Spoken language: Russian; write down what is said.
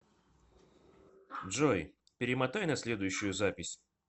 джой перемотай на следующую запись